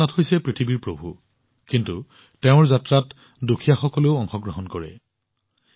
ভগৱান জগন্নাথ হৈছে বিশ্বৰ প্ৰভু কিন্তু তেওঁৰ যাত্ৰাত দৰিদ্ৰ দুখীয়াসকলৰ বিশেষ অংশগ্ৰহণ হয়